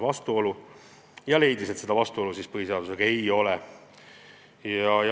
Nõunik leidis, et seda vastuolu põhiseadusega ei ole.